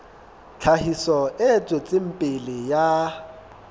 tlhahiso e tswetseng pele ya